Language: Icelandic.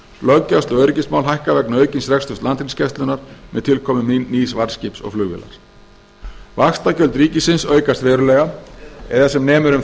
löggæslu og öryggismál hækka vegna aukins reksturs landhelgisgæslunnar með tilkomu nýs varðskips og flugvélar vaxtagjöld ríkisins aukast verulega eða sem nemur um